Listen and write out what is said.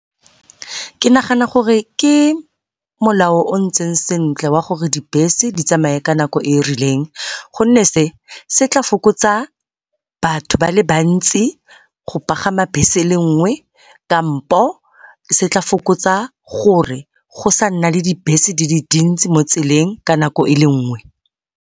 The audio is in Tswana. Ke nagana gore ke molao o o ntseng sentle wa gore dibese di tsamaye ka nako e e rileng, gonne se se tla fokotsa batho ba le bantsi go pagama bese e le nngwe kampo se tla fokotsa gore go sa nna le dibese di le dintsi mo tseleng ka nako e le nngwe.